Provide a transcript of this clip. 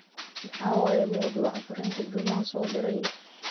maxa waaye mawduuca fariinta juma soo direy